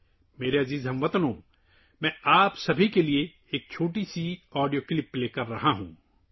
میرے پیارے ہم وطنو، میں آپ سب کے لیے ایک چھوٹا سا آڈیو کلپ چلا رہا ہوں